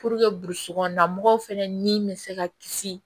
burusi kɔnɔna mɔgɔw fɛnɛ ni be se ka kisi